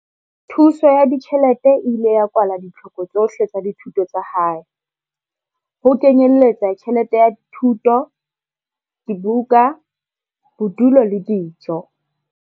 Thuso ya ditjhelete e ile ya kwala ditlhoko tsohle tsa dithuto tsa hae, ho kenyeletsa tjhelete ya thuto, dibuka, bodulo le dijo.